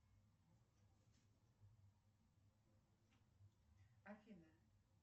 афина